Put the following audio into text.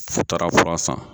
Fu taara fura san.